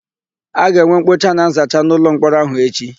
A ga-enwe mkpocha na nzacha n'ụlọmkpọrọ áhụ̀ echi.